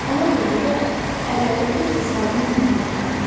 Ona görə də əlləri tez-tez sabunla yumaq lazımdır.